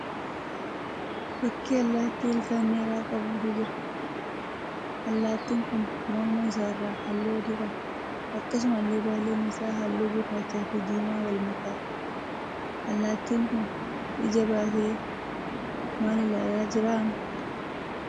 Fakkii allaattii ilkaan dheeraa qabuutu jira. Allaattiin kun morma isaarraa halluu adii qaba. Akkasumallee baalleen isaa halluu gurraachaa fi diimaa wal makaadha. Allaattiin kun ija baasee maal ilaalaa jira hamma?